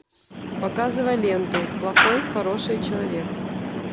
показывай ленту плохой хороший человек